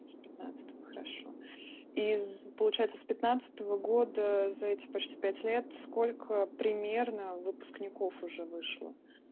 с пятнадцатого хорошо из получается с пятнадцатого года за эти почти пять лет сколько примерно выпускников уже вышло